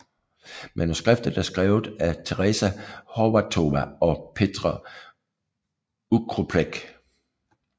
Manuskriptet er skrevet af Tereza Horváthová og Petr Oukropec